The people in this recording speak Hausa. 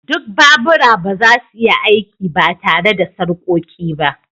Duk babura ba za su iya aiki ba tare da sarƙoƙi ba